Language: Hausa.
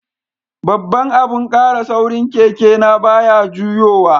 Babban abun kara saurin keke na baya juyowa.